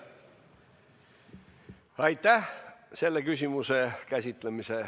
Lõpetame selle küsimuse käsitlemise.